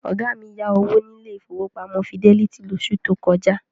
Ọ̀gá mi yá owó ní ilé ìfowópamọ́ Fidelity lóṣù tó kọjá.